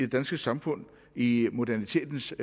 danske samfund i modernitetens